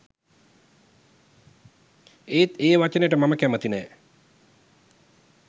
ඒත් ඒ වචනෙට මම කැමති නෑ